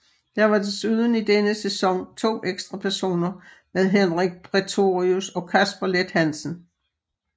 Der var desuden i denne sæson to ekstra personer med Henrik Prætorius og Kasper Leth Hansen